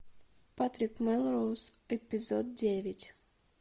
патрик мелроуз эпизод девять